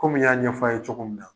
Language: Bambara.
Kɔmi n y'a yaf'aw ye cogo min na